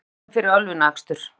Tveir teknir fyrir ölvunarakstur